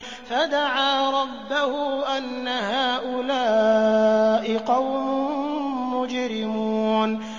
فَدَعَا رَبَّهُ أَنَّ هَٰؤُلَاءِ قَوْمٌ مُّجْرِمُونَ